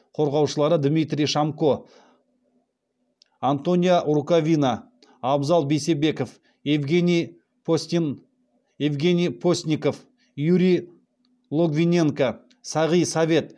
қорғаушылар дмитрий шомко антонио рукавина абзал бейсебеков евгений постников юрий логвиненко сағи совет